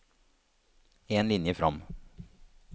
En linje fram